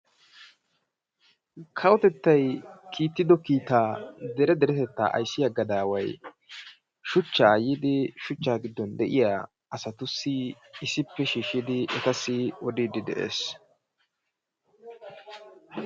Kawotettay kiittido kiitaa dere deretettaa ayssiya gadaaway shuchchaa yiidi shuchchaa giddon de'iya asatussi issippe shiishshidi etassi odiiddi de'ees.